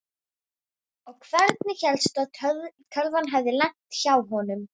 Og hvernig hélstu að tölvan hefði lent hjá honum?